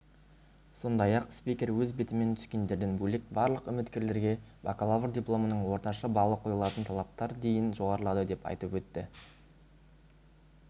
сондай-ақ спикер өз бетімен түскендерден бөлек барлық үміткерлерге бакалавр дипломының орташа балы қойылатын талаптар дейін жоғарылады деп айтып өтті